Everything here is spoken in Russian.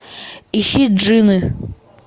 ищи джины